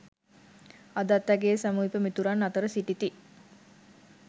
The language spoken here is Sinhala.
අදත් ඇගේ සමීප මිතුරන් අතර සිටිති.